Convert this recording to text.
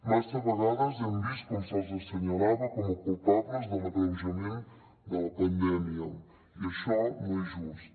massa vegades hem vist com se’ls assenyalava com a culpables de l’agreujament de la pandèmia i això no és just